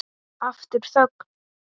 Aftur þögn.